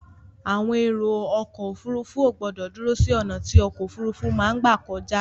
Àwọn èrò ọkọ̀ òfurufú ò gbọ̀dọ dúró sí ọ̀nà tí ọkọ̀ òfurufú máa gbà kọjá.